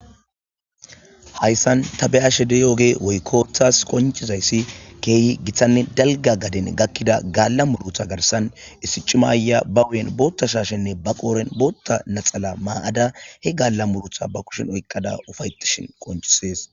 Hayssan tabeyashe deyooge woykkothas konchizayssi keehi giththanne dalga gaden gakkida gaalla murutha garsan issicimaya ba uyen bootta shaashenne ba qooren bootta naxala maa'ada he gaalla murutha ba kushin oyqqada ufaytishin qonchisees.